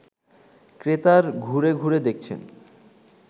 ক্রেতার ঘুরে ঘুরে দেখছেন